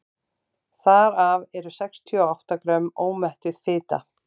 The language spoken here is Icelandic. þar af eru sextíu og átta grömm ómettuð fita